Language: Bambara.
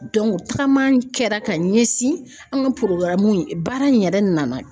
tagama kɛra ka ɲɛsin an ka in baara in yɛrɛ nana